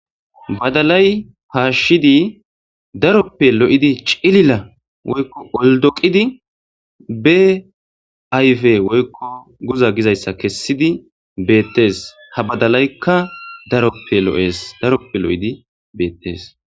Badalay haashshidi daroppe lo'idi cilila woykko oldoqidi be ayfe woykko guza gizayssa kessidi beettees ha badalaykka daroppe lo'ees daroppe lo'idi beettees.